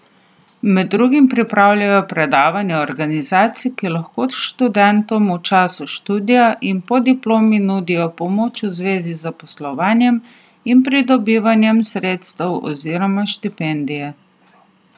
Med drugim pripravljajo predavanja organizacij, ki lahko študentom v času študija in po diplomi nudijo pomoč v zvezi z zaposlovanjem in pridobivanjem sredstev oziroma štipendij.